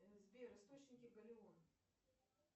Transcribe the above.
сбер источники галеон